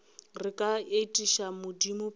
re ka etiša modimo pele